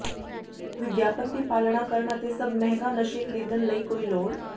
ਵਿਗਿਆਪਨ ਦੀ ਪਾਲਣਾ ਕਰਨ ਅਤੇ ਸਭ ਮਹਿੰਗਾ ਨਸ਼ੇ ਖਰੀਦਣ ਲਈ ਕੋਈ ਲੋੜ